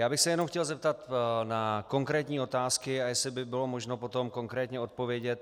Já bych se jenom chtěl zeptat na konkrétní otázky a jestli by bylo možno potom konkrétně odpovědět.